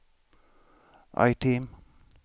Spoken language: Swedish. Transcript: item